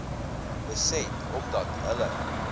beset omdat hulle